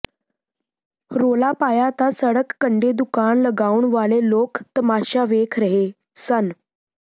ਰੌਲਾ ਪਾਇਆ ਤਾਂ ਸੜਕ ਕੰਡੇ ਦੁਕਾਨ ਲਗਾਉਣ ਵਾਲੇ ਲੋਕ ਤਮਾਸ਼ਾ ਵੇਖ ਰਹੇ ਸਨ